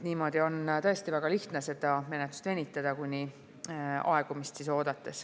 Niimoodi on tõesti väga lihtne menetlust venitada ja aegumist oodata.